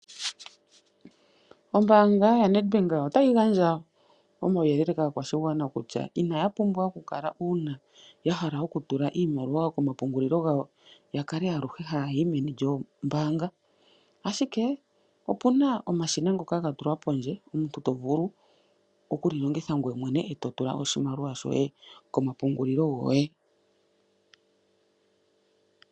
Ombaanga yaNedbank otayi gandja omauyelele oshigwana kutya inaya pumbwa oku kala aluhe uuna ya hala oku tula iimaliwa komapungulilo gawo ya kale aluhe haya yi meni lyoombaanga oshoka opuna omashina ngoka ga tulwa pondje omuntu to vulu oku li longitha ngoye mwene eto tula mo oshiamliwa shoye komapungulilo goye.